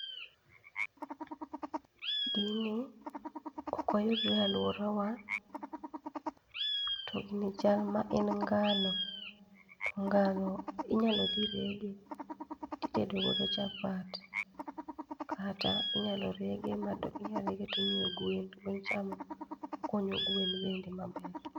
Gini okoyudre e aluorawa, to gini chalma en ngano, to ngano inyalo thi rege to itedogodo chapat kata inyalo rege inyalo rege to imiyo gwen to gwen chamo konyo gwen bende maber.